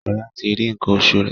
Shola tí rí nkan oṣù rẹ.